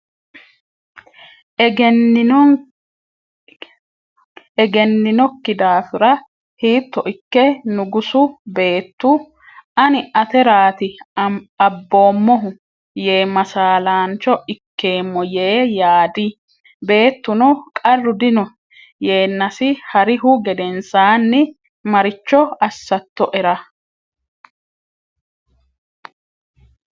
egenninokki daafira, “Hiitto ikke nugusu Beettu, “Ani ateraati abboommohu,” yee masaalaancho ikkeemmo?” yee yaadi Beettuno, qarru dino,” yeennasi ha’rihu gedensaanni “Maricho assattoera?